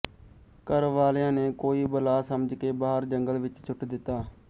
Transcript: ਘਰ ਵਾਲਿਆਂ ਨੇ ਕੋਈ ਬਲਾ ਸਮਝ ਕੇ ਬਾਹਰ ਜੰਗਲ ਵਿੱਚ ਸੁੱਟ ਦਿੱਤਾ